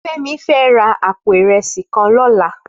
Femi fè rà àpó irèsí kàn lòlá